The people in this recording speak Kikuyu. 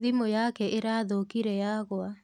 Thimu yake ĩrathũkire yagũa.